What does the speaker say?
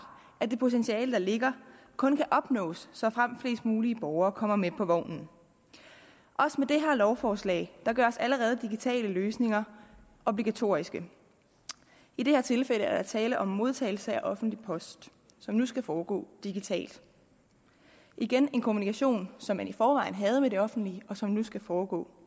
at det potentiale der ligger kun kan opnås såfremt flest mulige borgere kommer med på vognen også med det her lovforslag gøres allerede digitale løsninger obligatoriske i det her tilfælde er der tale om modtagelse af offentlig post som nu skal foregå digitalt igen en kommunikation som man i forvejen havde med det offentlige og som nu skal foregå